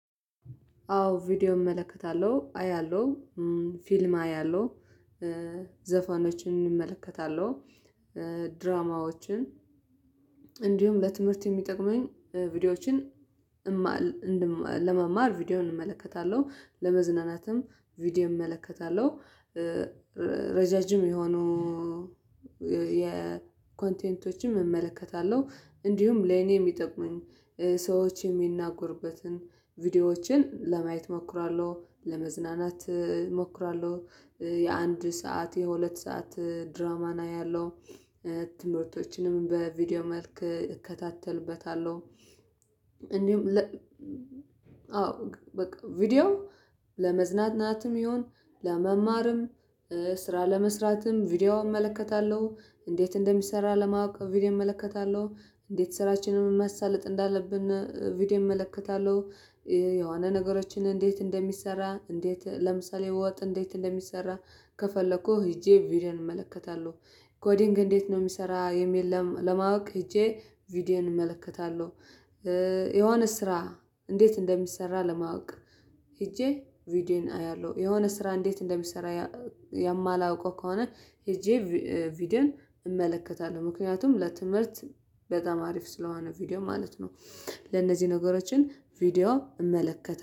አዎ ቪዲዮ እመለከታለሁ አያለሁ ፊልም አያለሁ ዘፋኖችን እመለከታለሁ ድራማዎችን እንዲሁም ለትምህርት የሚጠቅሙኝ ቪዲዮዎችን ለመማር ቪዲዮውን እመለከታለሁ ለመዝናናትም ቪዲዮ እመለከታለሁ። ረዣዥም የሆኑ የኮንቴንቶችም እመለከታለሁ እንዲሁም ለኔ የሚጠቅሙኝ ሰዎች የሚናጉርበትን ቪዲዮዎችን ለማየት እሞክራለሁ ለመዝናናት እሞክራለሁ የአንድ ሰዓት የሁለት ሰዓት ድራማ ነው ያለው ትምህርቶችንም በቪዲዮ መልክ እከታተልበታለሁ። እንዲሁም አዎ በቃ ቪዲዮ ለመዝናናትም ይሁን ለመማርም ስራ ለመስራትም ቪዲዮ እመለከታለሁ እንዴት እንደሚሰራ ለማወቅ ቪዲዮ እመለከታለሁ እንዴት ስራችንን ማሳለጥ እንዳለብን ቪዲዮ እመለከታለሁ የሆነ ነገሮችን እንዴት እንደሚሰራ እንዴት ለምሳሌ ወጥ እንዴት እንደሚሰራ ከፈለኩህ ሄጄ ቪዲዮን እመለከታለሁ ኮዲንግ እንዴት ነው የሚሰራ የለም ለማወቅ ሄጄ ቪዲዮዬን እመለከታለሁ። ስራ እንዴት እንደሚሰራ ለማወቅ ሄጄ ቪዲዮዬን አያለሁ የሆነ ስራ እንዴት እንደሚሰራ የማላውቀው ከሆነ ሄጄ ቪዲዮን እመለከታለሁ ምክንያቱም ለትምህርት በጣም አሪፍ ስለሆነ ቪዲዮ ማለት ነው። ለእነዚህ ነገሮችን ቪዲዮ እመለከተ